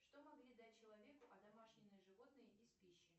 что могли дать человеку одомашненные животные из пищи